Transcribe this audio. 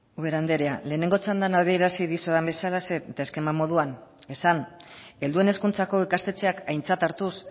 ubera anderea lehenengo txandan adierazi dizudan bezala eta eskema moduan esan helduen hezkuntzako ikastetxeak aintzat hartuz